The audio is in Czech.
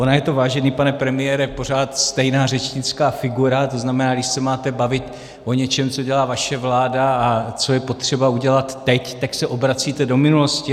Ona je to, vážený pane premiére, pořád stejná řečnická figura, to znamená, když se máte bavit o něčem, co dělá vaše vláda a co je potřeba udělat teď, tak se obracíte do minulosti.